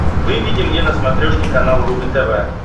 выведи мне на смотрешке канал рубль тв